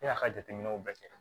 Ne y'a ka jateminɛw bɛɛ kɛ